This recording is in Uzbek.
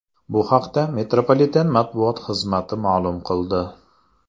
Bu haqda metropoliten matbuot xizmati ma’lum qildi .